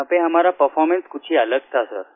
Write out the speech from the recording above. यहाँ पर हमारा परफॉर्मेंस कुछ ही अलग था सिर